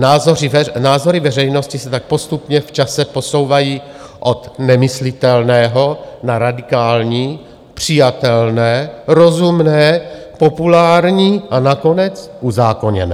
Názory veřejnosti se tak postupně v čase posouvají od nemyslitelného na radikální, přijatelné, rozumné, populární a nakonec uzákoněné.